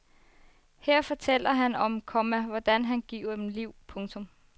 Her fortæller han om, komma hvordan han giver dem liv. punktum